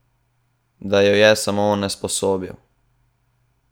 Da jo je samo onesposobil.